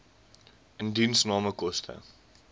indiensname koste